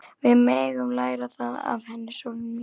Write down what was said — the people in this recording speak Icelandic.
Við megum læra það af henni, sólin mín.